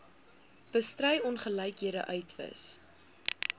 bestry ongelykhede uitwis